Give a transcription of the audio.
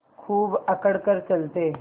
खूब अकड़ कर चलते